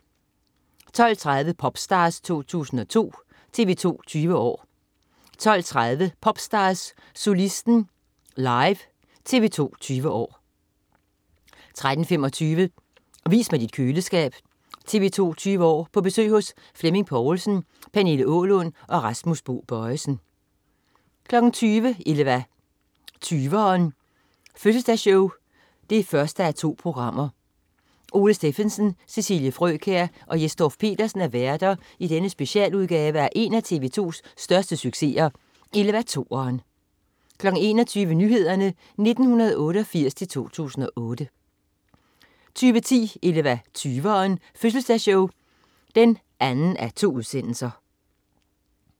12.30 Popstars, 2002. TV 2 20 år 13.00 Popstars, solisten live. TV 2 20 år 13.25 Vis mig dit køleskab. TV 2 20 år: På besøg hos Flemming Poulsen. Pernille Aalund og Rasmus Bo Bojesen 20.00 Eleva20ren. Fødseldagsshow 1:2. Ole Stephensen, Cecilie Frøkjær og Jes Dorph-Petersen er værter i denne specialudgave af en af TV 2's største succeser, Eleva2ren 21.00 Nyhederne 1988-2008 21.10 Eleva20ren. Fødseldagsshow 2:2